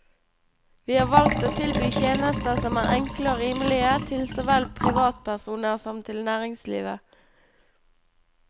Vi har valgt å tilby tjenester som er enkle og rimelige, til såvel privatpersoner som til næringslivet.